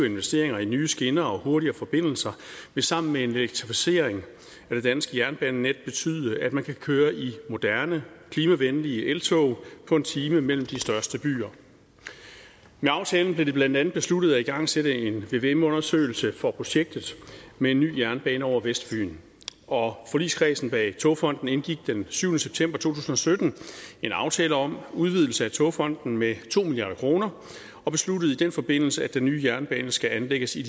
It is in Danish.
investeringer i nye skinner og hurtigere forbindelser vil sammen med elektrificering af det danske jernbanenet betyde at man kan køre i moderne klimavenlige eltog på en time mellem de største byer med aftalen blev det blandt andet besluttet at igangsætte en vvm undersøgelse for projektet med en ny jernbane over vestfyn og forligskredsen bag togfonden dk indgik den syvende september to tusind og sytten en aftale om udvidelse af togfonden dk med to milliard kroner og besluttede i den forbindelse at den nye jernbane skal anlægges i